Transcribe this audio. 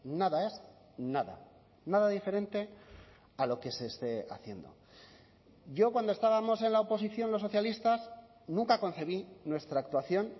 nada es nada nada diferente a lo que se esté haciendo yo cuando estábamos en la oposición los socialistas nunca concebí nuestra actuación